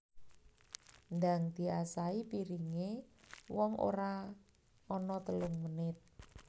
Ndang diasahi piringe wong ora ono telung menit